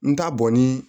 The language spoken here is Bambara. N t'a bɔ ni